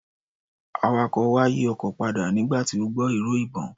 Awakọ̀ wa yí ọkọ̀ padà nígbà tí ó gbọ́ ìró ìbọn.